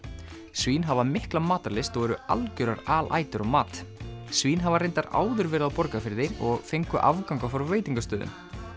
svín hafa mikla matarlyst og eru algjörar alætur á mat svín hafa reyndar áður verið á Borgarfirði og fengu afganga frá veitingastöðum